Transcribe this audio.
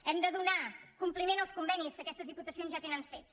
hem de donar compliment als convenis que aquestes diputacions ja tenen fets